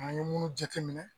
An ye munnu jateminɛ